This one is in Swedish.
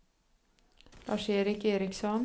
Lars-Erik Eriksson